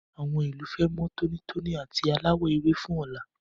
Àwọn ìlú fẹ́ mọ́ tónítóní àti aláwọ̀ ewé fún ọ̀la.